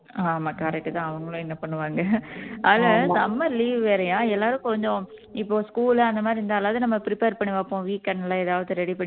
ஆமா correct தான் அவங்களும் என்ன பண்ணுவாங்க அது summer leave வேறயா எல்லாரும் கொஞ்சம் இப்ப school அந்த மாதிரி இருந்தாலாவது நம்ம prepare பண்ணி பார்ப்போம் weekend ல ஏதாவது ready பண்ணி வைப்போம்